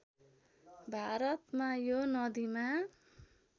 भारतमा यो नदिमा